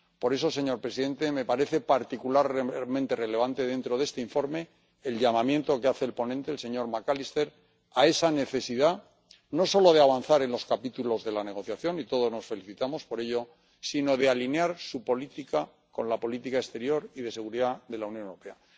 Por eso, señor presidente, me parece particularmente relevante, dentro de este informe, el llamamiento que hace el ponente, el señor McAllister, a la necesidad no solo de avanzar en los capítulos de la negociación —y todos nos felicitamos por ello—, sino de alinear su política con la política exterior y de seguridad de la Unión Europea.